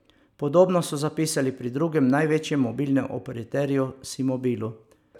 Podobno so zapisali pri drugem največjem mobilnem operaterju Simobilu.